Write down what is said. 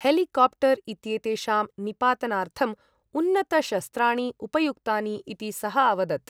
Helicopter इत्येतेषां निपातनार्थम् उन्नतशस्त्राणि उपयुक्तानि इति सः अवदत्।